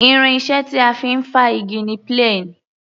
Irin iṣẹ́ tí a fi ń fá igi ni plane.